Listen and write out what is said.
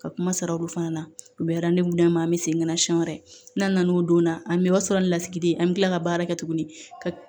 Ka kuma sara olu fana na u bɛ d'an ma an bɛ segin na siɲɛ wɛrɛ n'aw donna an bɛ o sara ni lasigiden ye an bɛ tila ka baara kɛ tuguni ka